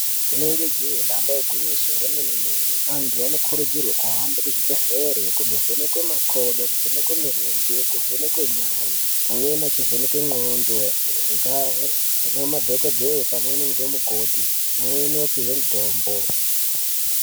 Rinenge jee damba igwinyiso remene-mene. Antu anokurudzirwe kuhambe kuzvibhedhlere kundovhenekwe makodo, kuvhenekwe mirenje, kuvhenekwe nyare, amweni achivhenekwe ndxondo ngamadhokodheye pamweni ngemukoti, pamweni vopiwe mitombo.